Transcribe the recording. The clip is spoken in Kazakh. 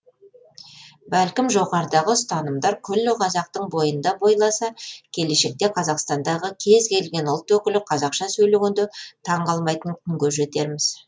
бәлкім жоғарыдағы ұстанымдар күллі қазақтың бойында бойласа келешекте қазақстандағы кез келген ұлт өкілі қазақша сөйлегенде таң қалмайтын күнге жетерміз